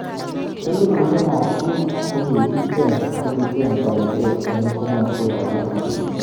Elibushek ab bik kokicheng toretet eng kimoswek alak.